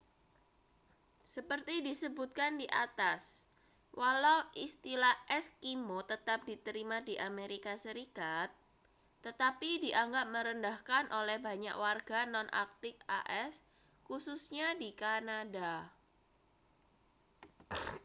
seperti disebutkan di atas walau istilah eskimo tetap diterima di amerika serikat tetapi dianggap merendahkan oleh banyak warga non-arktik as khususnya di kanada